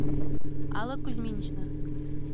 алла кузьминична